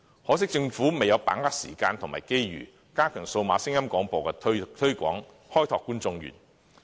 可惜政府未有把握時間和機遇，加強推廣數碼聲音廣播，開拓觀眾源。